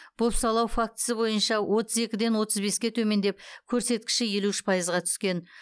бопсалау фактісі бойынша отыз екіден отыз беске төмендеп көрсеткіші елу үш пайызға түскен